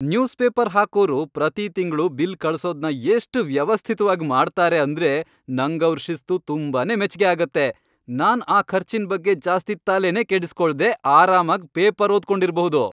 News paper ಹಾಕೋರು ಪ್ರತೀ ತಿಂಗ್ಳು ಬಿಲ್ ಕಳ್ಸೋದ್ನ ಎಷ್ಟ್ ವ್ಯವಸ್ಥಿತ್ವಾಗ್ ಮಾಡ್ತಾರೆ ಅಂದ್ರೆ ನಂಗವ್ರ್ ಶಿಸ್ತು ತುಂಬಾನೇ ಮೆಚ್ಗೆ ಆಗತ್ತೆ. ನಾನ್ ಆ ಖರ್ಚಿನ್ ಬಗ್ಗೆ ಜಾಸ್ತಿ ತಲೆನೇ ಕೆಡಿಸ್ಕೊಳ್ದೇ ಆರಾಮಾಗ್ ಪೇಪರ್ ಓದ್ಕೊಂಡಿರ್ಬಹುದು.